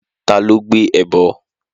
Ta ló gbé ẹbọ?